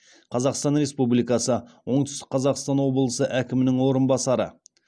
қазақстан республикасы оңтүстік қазақстан облысы әкімінің орынбасары